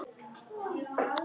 Hvað vildi hún hingað?